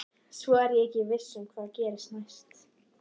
Svo er ég ekki viss um hvað gerist næst.